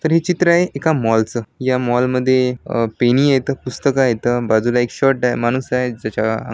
तर है चित्र एका मॉल चं या मॉल मध्ये पेनी आहेत पुस्तकं आहेत बाजूला एक शर्ट आहे माणूस आहे ज्याच्या अं--